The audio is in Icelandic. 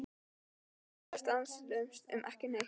Hann blaðraði stanslaust um ekki neitt.